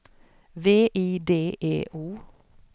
V I D E O